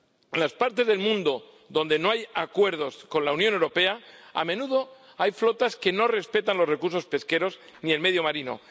En las partes del mundo donde no hay acuerdos con la Unión Europea, a menudo hay flotas que no respetan los recursos pesqueros ni el medio marino.